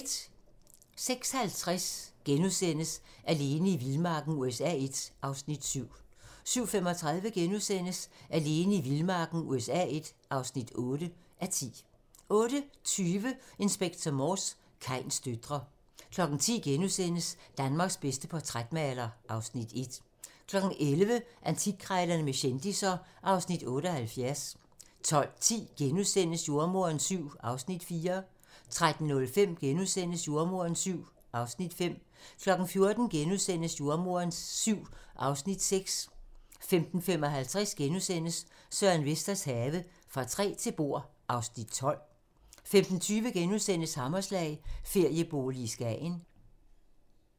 06:50: Alene i vildmarken USA I (7:10)* 07:35: Alene i vildmarken USA I (8:10)* 08:20: Inspector Morse: Kains døtre 10:00: Danmarks bedste portrætmaler (Afs. 1)* 11:00: Antikkrejlerne med kendisser (Afs. 78) 12:10: Jordemoderen VII (Afs. 4)* 13:05: Jordemoderen VII (Afs. 5)* 14:00: Jordemoderen VII (Afs. 6)* 14:55: Søren Vesters have - Fra træ til bord (Afs. 12)* 15:20: Hammerslag - feriebolig i Skagen *